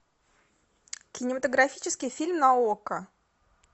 кинематографический фильм на окко